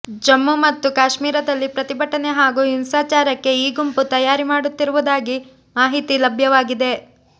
ಜಮ್ಮು ಮತ್ತು ಕಾಶ್ಮೀರದಲ್ಲಿ ಪ್ರತಿಭಟನೆ ಹಾಗೂ ಹಿಂಸಾಚಾರಕ್ಕೆ ಈ ಗುಂಪು ತಯಾರಿ ಮಾಡುತ್ತಿರುವುದಾಗಿ ಮಾಹಿತಿ ಲಭ್ಯವಾಗಿದೆ